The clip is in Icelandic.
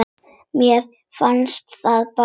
Mér fannst það bara.